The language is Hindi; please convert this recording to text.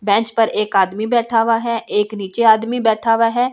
बेंच पर एक आदमी बैठा हुआ है एक नीचे आदमी बैठा हुआ है।